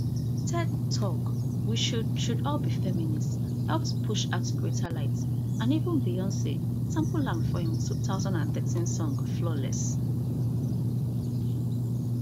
ted talk we should should all be feminists help to push her to greater light and even beyonc sample am for her two thousand and thirteen song flawless